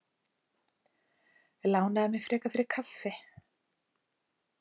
Lánaðu mér frekar fyrir kaffi.